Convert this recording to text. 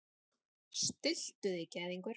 Stilltu þig gæðingur.